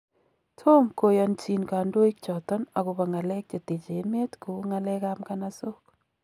Tom koyonjin kandoik choton agobo ng'alek cheteche emet kou ng'alek ab ng'anasook.